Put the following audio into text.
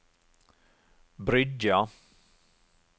Bryggja